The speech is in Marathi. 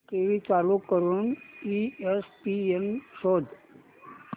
टीव्ही चालू करून ईएसपीएन शोध